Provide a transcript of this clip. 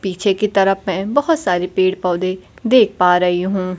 पीछे की तरफ मै बहोत सारे पेड़ पौधे देख पा रही हूं।